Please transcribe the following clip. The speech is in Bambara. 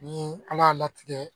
Ni ala y'a latigɛ